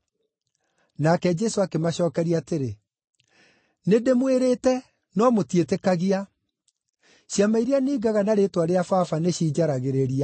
Nake Jesũ akĩmacookeria atĩrĩ, “Nĩndĩmwĩrĩte, no mũtiĩtĩkagia. Ciama iria ningaga na rĩĩtwa rĩa Baba nĩcinjaragĩrĩria,